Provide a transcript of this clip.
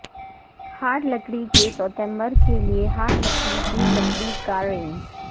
hard لکڑی کے سوتیمبر کے لئے ہارڈ لکڑی کی لکڑی کا رینج